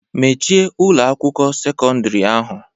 Mechie Ụlọ akwụkwọ sekọndrị ahu.